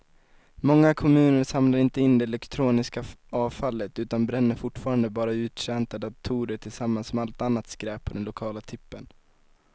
Många kommuner samlar inte in det elektroniska avfallet utan bränner fortfarande bara uttjänta datorer tillsammans med allt annat skräp på den lokala tippen.